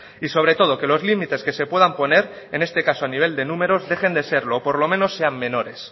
y sobre todo que los límites que se puedan poner en este caso a nivel de números dejen de serlo o por lo menos sean menores